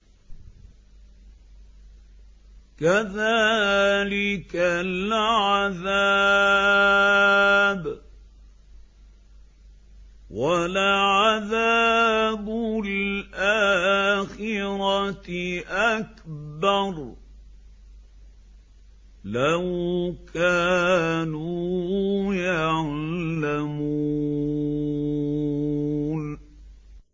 كَذَٰلِكَ الْعَذَابُ ۖ وَلَعَذَابُ الْآخِرَةِ أَكْبَرُ ۚ لَوْ كَانُوا يَعْلَمُونَ